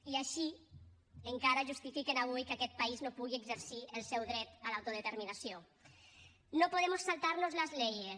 i així encara justifiquen avui que aquest país no pugui exercir el seu dret a l’autodeterminació no podemos saltarnos las leyes